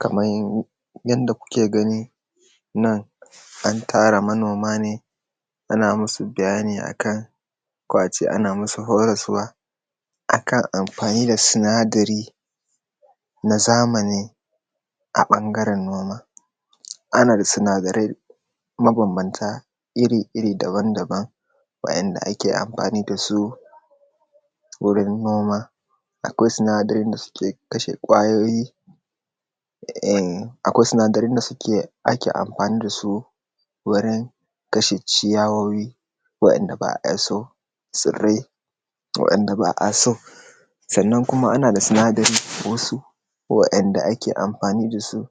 Kaman yadda kuke gani, nan an tara manoma ne, ana masu bayani a kan, ko a ce ana masu horaswa a kan amfani da sinadari na zamani a ɓangaren noma. Ana da sinadarai mabanbanta iri-iri daban-daban, wa’yanda ake amhani da su wurin noma. Akwai sinadarin da suke kashe kwayoyi, um akwai sinadarin da ake amfani da su wurin kashe ciyawoyi, waddanda ba a so, tsirai waddanda ba a so. Sannan kuma ana da sinadari wasu wa’yanda ake amfani da su,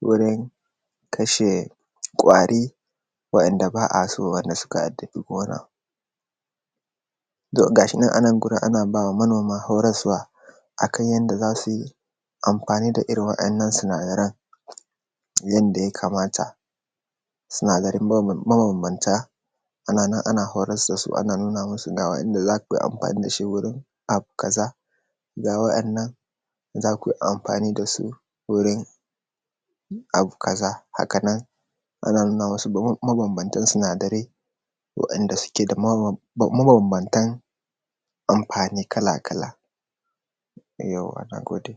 wurin kashe kwari wa’yanda ba a so wa’yanda suka addabi gona. To gashinan a nan ana bawa manoma horaswa a kan yadda za su yi amfani da irin waɗannan sinadaran, yanda yakamata da sinadarai ma mabanbanta. Ana nan ana horas da su ana nuna masu ga yadda za yi amfani wurin abu kaza. Ga waɗannan zaku amfani da su wurin abu kaza haka nan, ana nuna masu mabanbanta sinadarai. Wa’yanda suke da maban mabambanta amfani kala-kala. Yauwa na gode.